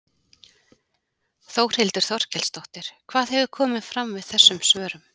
Þórhildur Þorkelsdóttir: Hvað hefur komið fram við þessum svörum?